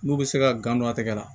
N'u bɛ se ka gan don a tɛgɛ la